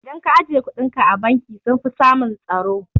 Idan ka ajiye kuɗinka a banki sunfi samun tsaro